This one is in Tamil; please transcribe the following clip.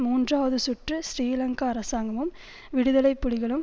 மூன்றாவது சுற்று சிறிலங்கா அரசாங்கமும் விடுதலை புலிகளும்